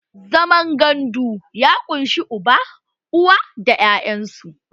Zaman gandu ya ƙunshi uba, uwa, da 'ya'yan su